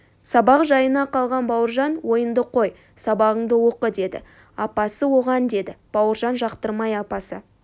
сабақ жайына қалған бауыржан ойынды қой сабағыңды оқы деді апасы оған деді бауыржан жақтырмай апасы